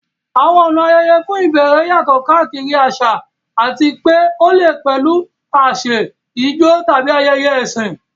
Àwọn ọ̀nà ayẹyẹ fún ìbẹ̀rẹ̀ yàtọ̀ káàkiri àṣà àti pé ó lè pẹ̀lú àsè, ijó, tàbí ayẹyẹ ẹ̀sìn.